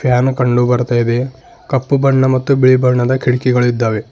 Fan ಕಂಡು ಬರ್ತಾ ಇದೇ ಕಪ್ಪು ಬಣ್ಣ ಮತ್ತು ಬಿಳಿ ಬಣ್ಣ ಕಿಡಕಿಗಳಿದ್ದಾವೆ.